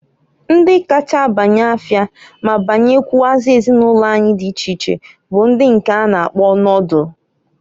Ndi kacha banya afịa ma banyekwuazị ezinụlo anyị di iche iche bụ ndi nke a na akpọ nodulu.